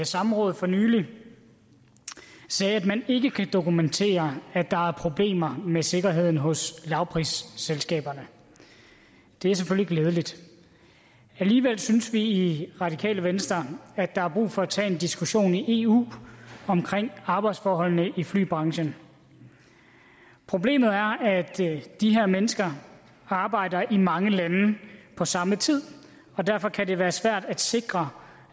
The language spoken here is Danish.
samråd for nylig sagde at man ikke kan dokumentere at der er problemer med sikkerheden hos lavprisselskaberne det er selvfølgelig glædeligt alligevel synes vi i radikale venstre at der er brug for at tage en diskussion i eu om arbejdsforholdene i flybranchen problemet er at de her mennesker arbejder i mange lande på samme tid og derfor kan det være svært at sikre